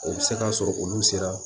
O bɛ se ka sɔrɔ olu sera